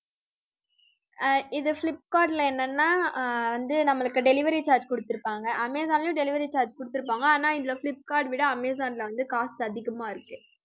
ஆஹ் இது ஃபிளிப்கார்ட்ல என்னன்னா ஆஹ் வந்து நம்மளுக்கு delivery charge குடுத்திருப்பாங்க. அமேசான்ல delivery charge குடுத்திருப்பாங்க. ஆனா இதுல ஃபிளிப்கார்ட்ல விட அமேசான்ல வந்து cost அதிகமா இருக்கு